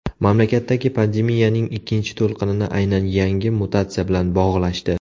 Mamlakatdagi pandemiyaning ikkinchi to‘lqinini aynan yangi mutatsiya bilan bog‘lashdi.